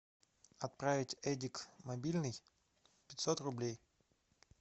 отправить эдик мобильный пятьсот рублей